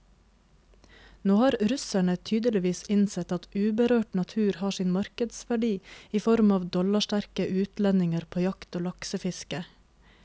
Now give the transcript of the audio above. Nå har russerne tydeligvis innsett at uberørt natur har sin markedsverdi i form av dollarsterke utlendinger på jakt og laksefiske.